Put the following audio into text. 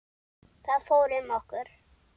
Það fór um okkur.